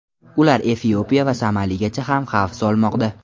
Ular Efiopiya va Somaliga ham xavf solmoqda.